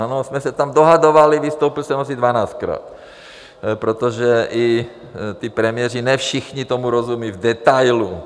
My jsme se tam dohadovali, vystoupil jsem asi dvanáctkrát, protože i ti premiéři ne všichni tomu rozumí v detailu.